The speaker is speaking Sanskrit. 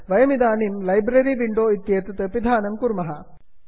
वयमिदानीं लैब्ररि विण्डो इत्येतत् पिधानं कुर्मः